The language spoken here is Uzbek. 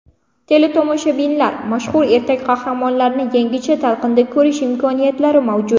Teletomoshabinlar mashhur ertak qahramonlarini yangicha talqinda ko‘rish imkoniyatlari mavjud.